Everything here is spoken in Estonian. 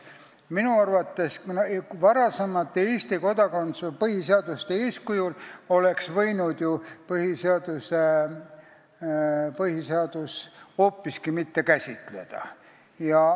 Minu arvates oleks võinud põhiseadus varasemate Eesti põhiseaduste eeskujul kodakondsust hoopiski mitte käsitleda.